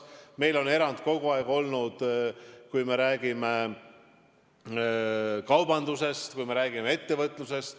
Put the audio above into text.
Samuti on meil kogu aeg olnud erandeid kaubanduses, ettevõtluses.